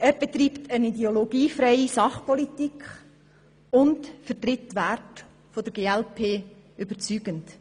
Er betreibt eine ideologiefreie Sachpolitik und vertritt die Werte der glp überzeugend.